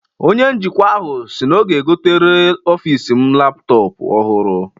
Onye njikwa ahụ si na ọ ga-egotere ọfis m laptọpụ ọhụrụ.